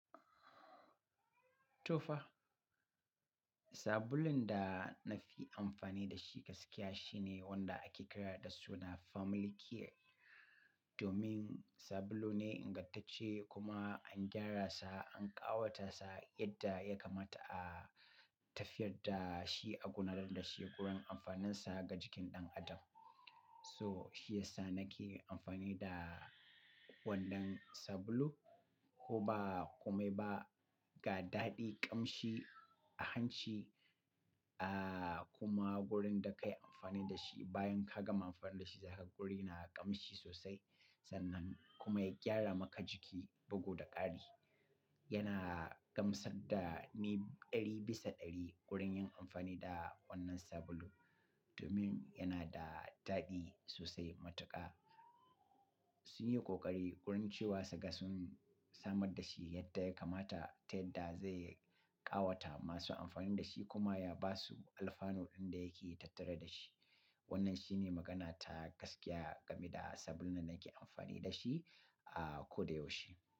To fa, sabulun da na fi amfani da shi gaskiya shine wanda ake kira da suna Family Care. Domin sabulu ne ingantacce kuma an gyara sa, an ƙawata sa yadda ya kamata a tafiyar da shi a gunan da shine wurin amfaninsa ga jikin ɗan adam. So shi yasa nake amfani da wannan sabulu. Koba kome ba ga daɗi ƙamshi a hanci, ah kuma wurin da ka yi amfani da shi bayan ka gama amfani da shi zai haƙuri na ƙamshi sosai. Sannan kuma ya gyara maka jiki bugu da ƙari. Yana gamsar da ni ɗari bisa ɗari wurin yin amfani da wannan sabulu. Domin yana da daɗi sosai matuƙa. Sun yi ƙoƙari wurin cewa suka sun samar da shi yadda ya kamata ta yadda zai ƙawata masu amfani da shi kuma ya ba su alfanu ɗin da yake tattare da shi. Wannan shine magana ta gaskiya game da sabulun da nake amfani da shi a ko da yaushe.